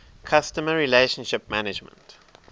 customer relationship management